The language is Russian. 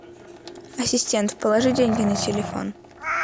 ассистент положи деньги на телефон